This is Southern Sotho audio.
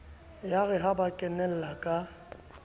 yare ha ba kenella ka